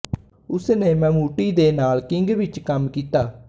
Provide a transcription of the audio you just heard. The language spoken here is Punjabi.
ਉਸ ਨੇ ਮੈਮੂਟੀ ਦੇ ਨਾਲ ਕਿੰਗ ਵਿੱਚ ਕੰਮ ਕੀਤਾ